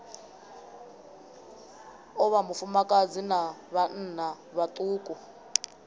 o vhafumakadzi na vhanna vhaṱuku